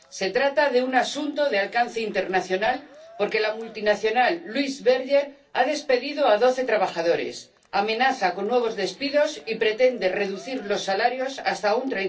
Se trata de un asunto de alcance internacional, porque la multinacional Louis Berger ha despedido a doce trabajadores, amenaza con nuevos despidos y pretende reducir los salarios hasta un